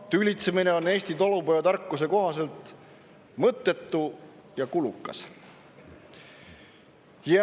Tülitsemine on Eesti talupojatarkuse kohaselt mõttetu ja kulukas.